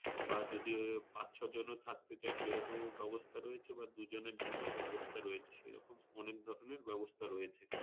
বা যদি ওই পাঁচ-ছয় জন ও থাকতে চাই সেইরকম ও ব্যাবস্থা রয়েছে। বা দুজনের জন্য ব্যাবস্থা রয়েছে, এরকম অনেক ধরনের ব্যবস্থা রয়েছে।